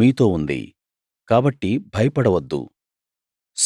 మీతో ఉంది కాబట్టి భయపడవద్దు